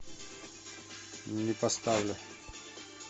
не поставлю